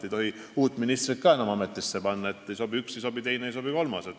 Ei tohi enam uut ministrit ka ametisse panna: ei sobi üks, ei sobi teine, ei sobi kolmas.